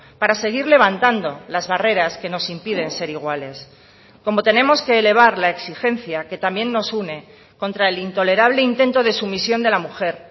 para seguir levantando las barreras que nos impiden ser iguales como tenemos que elevar la exigencia que también nos une contra el intolerable intento de sumisión de la mujer